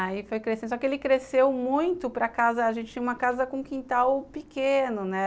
Aí foi crescendo, só que ele cresceu muito para casa, a gente tinha uma casa com um quintal pequeno, né?